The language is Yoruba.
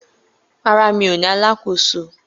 Rárá, mi ò ní alákòóso